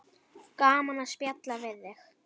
Gaman að spjalla við þig.